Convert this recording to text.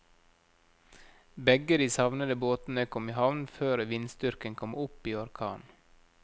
Begge de savnede båtene kom i havn før vindstyrken kom opp i orkan.